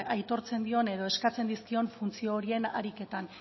aitortzen dion edo eskatzen dizkion funtzio horien ariketan